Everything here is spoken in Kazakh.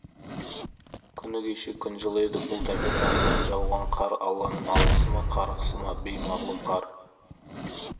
күні кеше күн жылы еді бұл тәпе-тәннен жауған қар алланың алғысы ма қарғысы ма беймағлұм қар